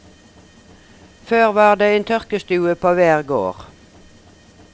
Før var det en tørkestue på hver gård.